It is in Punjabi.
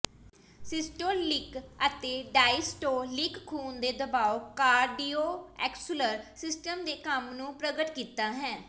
ਸਿਸਟੋਲਿਕ ਅਤੇ ਡਾਇਸਟੋਲਿਕ ਖੂਨ ਦੇ ਦਬਾਅ ਕਾਰਡੀਓਵੈਸਕੁਲਰ ਸਿਸਟਮ ਦੇ ਕੰਮ ਨੂੰ ਪ੍ਰਗਟ ਕੀਤਾ ਹੈ